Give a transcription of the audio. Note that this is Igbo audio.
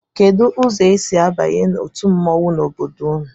Kedụ ụzọ e si abanye otu mmọnwụ n'obodo unu?